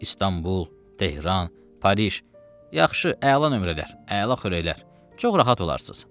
İstanbul, Tehran, Parij, yaxşı, əla nömrələr, əla xörəklər, çox rahat olarsınız.